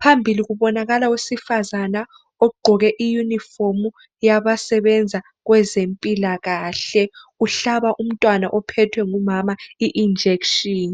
Phambili kubonakala owesifazane ogqoke iyunifomu yabasebenza kwezempilakahle uhlaba umntwana ophethwe ngumama i injection.